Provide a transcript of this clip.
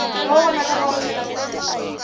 lowu vonakaka wu tlhela wu